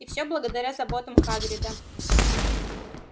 и всё благодаря заботам хагрида